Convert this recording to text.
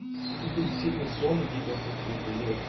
суперсильный сон либо как бы блять